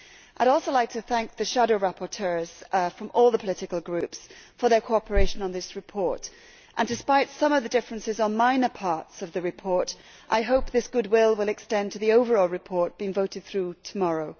I would also like to thank the shadow rapporteurs from all the political groups for their cooperation on this report and, despite some of the differences on minor parts of the report, I hope this goodwill will extend to the overall report being voted through tomorrow.